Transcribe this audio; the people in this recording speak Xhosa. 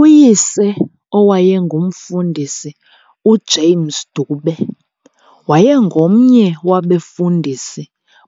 Uyise owayengumfundisi uJames Dube, wayengomnye wabefundisi